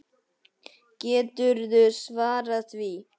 Geturðu svarað því?